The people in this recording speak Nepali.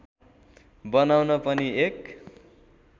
बनाउन पनि एक